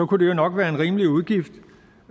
kunne det jo nok være en rimelig udgift